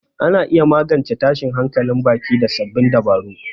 Ana iya magance tashin hankalin baki da sabbin dabaru.